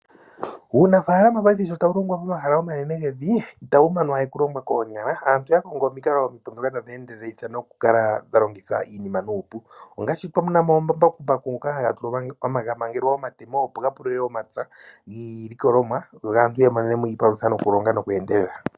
Uunafaaalama paife sho tawu longwa nomahala omanene gevi itawu manwa we okulongwa koonyala, aantu oya kongo dhono tadhi endelelitha nokukala dha longitha iinima nuupu, ongaashi twamona mo omambakumbaku ngoka haga mangelwa omatemo opo ga pulule omapya niilikolomwa yo aantu yiimonene mo iipalutha nokulonga nokweendelela.